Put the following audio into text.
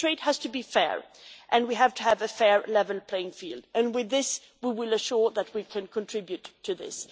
But trade has to be fair, and we have to have a fair, level playing field, and with this we will assure that we can contribute to this.